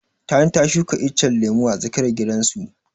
Tani ta shuka icen lemu a tsakiyar gidan su.